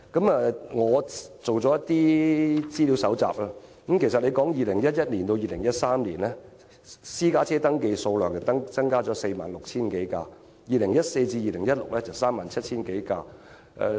我做了一些資料搜集，由2011年至2013年，私家車登記數量增加了 46,000 多輛 ；2014 年至2016年增加了 37,000 多輛。